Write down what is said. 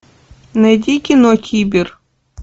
найди кино кибер